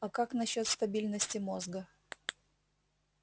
а как насчёт стабильности мозга